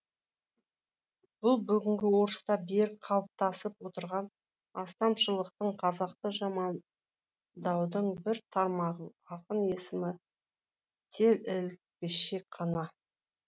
бұл бүгінгі орыста берік қалыптасып отырған астамшылықтың қазақты жамандаудың бір тармағы ақын есімі тек ілгішек қана